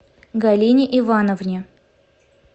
галине ивановне